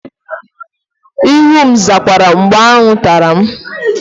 Ihu m zakwara mgbe aṅụ tara m